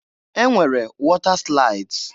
E nwere wọta slaịds.